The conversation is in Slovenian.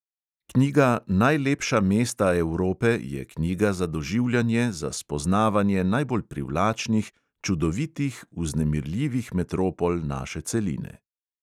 Knjiga najlepša mesta evrope je knjiga za doživljanje za spoznavanje najbolj privlačnih, čudovitih, vznemirljivih metropol naše celine.